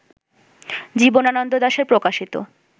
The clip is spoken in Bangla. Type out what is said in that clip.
জীবনানন্দ দাশের প্রকাশিত